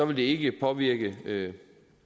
vil det ikke påvirke